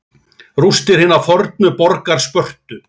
Rústir hinnar fornu borgar Spörtu.